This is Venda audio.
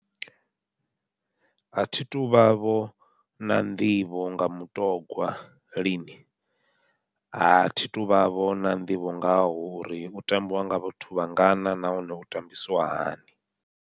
Athi tuvha vho na nḓivho nga mutogwa lini, athi tuvha vho na nḓivho ngaho uri u tambiwa nga vhathu vhangana nahone u tambisiwa hani.